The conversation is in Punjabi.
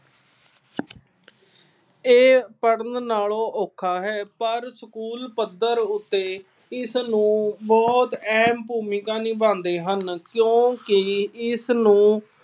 ਇਹ ਪੜ੍ਹਨ ਨਾਲੋਂ ਔਖਾ ਹੈ। ਪਰ ਸਕੂਲ ਪੱਧਰ ਉੱਤੇ ਇਸਨੂੰ ਬਹੁਤ ਅਹਿਮ ਭੂਮਿਕਾ ਨਿਭਾਉਂਦੇ ਹਨ। ਕਿਉਂਕਿ ਇਸ ਨੂੰ